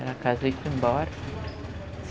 Ela casou e foi embora.